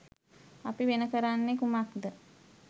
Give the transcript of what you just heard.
අපි වෙන කරන්නේ කුමක්ද?